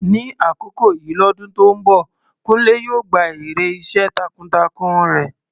Ní àkókò yìí lọ́dún tó ń bọ̀, Kunle yóò gba èrè iṣẹ́ takuntakun rẹ̀.